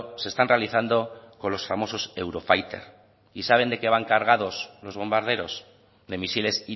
se están realizando con los famosos eurofighter y saben de qué van cargados los bombarderos de misiles